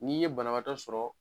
N'i ye banabaatɔ sɔrɔ